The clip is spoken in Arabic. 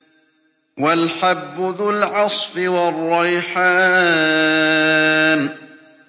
وَالْحَبُّ ذُو الْعَصْفِ وَالرَّيْحَانُ